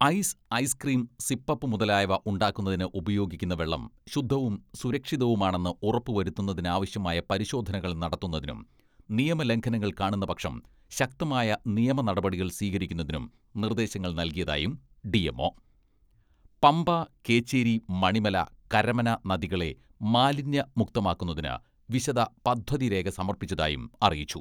Ice, ice cream, sip up മുതലായവ ഉണ്ടാക്കുന്നതിന്ന് ഉപയോഗിക്കുന്ന വെള്ളം ശുദ്ധവും സുരക്ഷിതവുമാണെന്ന് ഉറപ്പ് വരുത്തുന്നതിനാവശ്യമായ പരിശോധനകൾ നടത്തുന്നതിനും നിയമ ലംഘനങ്ങൾ കാണുന്ന പക്ഷം ശക്തമായ നിയമ നടപടികൾ സ്വീകരിക്കുന്നതിനും നിർദേശങ്ങൾ നൽകിയതായും ഡി.എം.ഒ പമ്പ, കേച്ചേരി, മണിമല, കരമന നദികളെ മാലിന്യമുക്തമാക്കുന്നതിന് വിശദ പദ്ധതിരേഖ സമർപ്പിച്ചതായും അറിയിച്ചു.